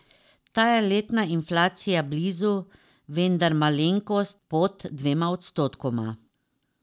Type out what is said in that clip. Ta je letna inflacija blizu, vendar malenkost pod dvema odstotkoma.